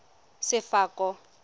sefako